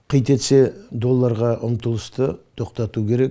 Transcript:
қи тетсе долларға ұмтылысты тоқтату керек